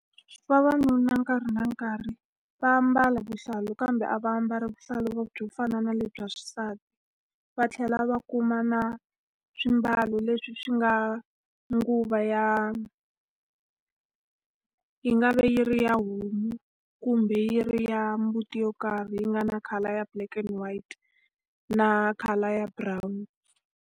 Vavanuna nkarhi na nkarhi va ambala vuhlalu kambe a va ambali vuhlalu byo fana na lebyi bya xisati. Va tlhela va kuma na swiambalo leswi swi nga nguvu ya yi nga va yi ri ya homu, kumbe yi ri ya mbuti yo karhi leyi yi nga na color black and white na color ya brown.